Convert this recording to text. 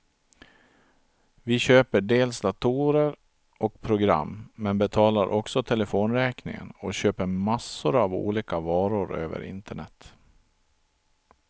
Vi köper dels datorer och program, men betalar också telefonräkningen och köper massor av olika varor över internet.